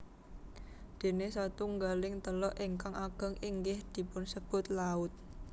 Déné satunggaling teluk ingkang ageng inggih dipunsebut laut